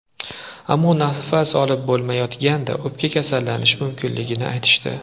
Ammo nafas olib bo‘lmayotgandi, o‘pka kasallanishi mumkinligini aytishdi.